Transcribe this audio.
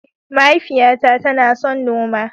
Mahaifiyata tana son noma.